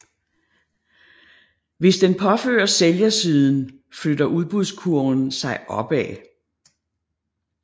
Hvis den påføres sælgersiden flytter udbudskurven sig opad